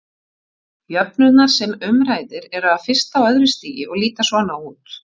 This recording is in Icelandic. Jöfnurnar sem um ræðir eru af fyrsta og öðru stigi og líta svona út: